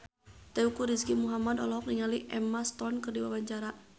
Teuku Rizky Muhammad olohok ningali Emma Stone keur diwawancara